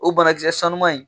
O banakisɛ sanuman in